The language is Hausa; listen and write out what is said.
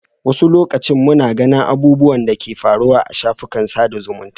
Wani lokacin muna ganin abubuwan da ke faruwa a shafukan sada zumunta.